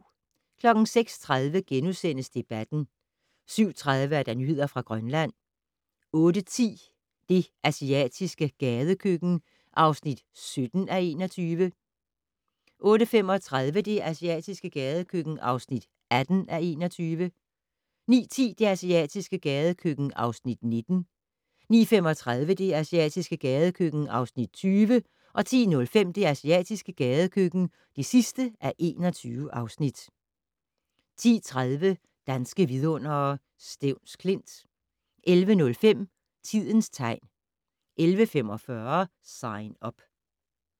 06:30: Debatten * 07:30: Nyheder fra Grønland 08:10: Det asiatiske gadekøkken (17:21) 08:35: Det asiatiske gadekøkken (18:21) 09:10: Det asiatiske gadekøkken (19:21) 09:35: Det asiatiske gadekøkken (20:21) 10:05: Det asiatiske gadekøkken (21:21) 10:30: Danske vidundere: Stevns Klint 11:05: Tidens tegn 11:45: Sign Up